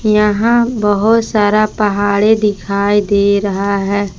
यहां बहुत सारा पहाड़े दिखाई दे रहा है।